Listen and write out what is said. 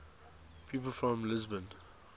people from lisbon